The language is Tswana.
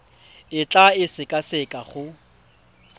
o tla e sekaseka go